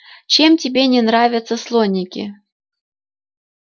чем тебе не нравятся слоники